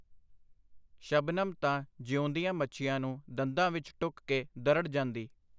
ਸ਼ਬਨਮ ਤਾਂ ਜੀਊਂਦੀਆਂ ਮੱਛੀਆਂ ਨੂੰ ਦੰਦਾਂ ਵਿਚ ਟੁੱਕ ਕੇ ਦਰੜ ਜਾਂਦੀ.